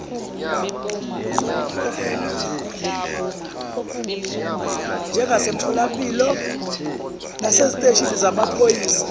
njengasemitholampilo naseziteshini zamaphoyisa